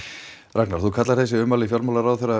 Ragnar þú kallar þessi ummæli fjármálaráðherra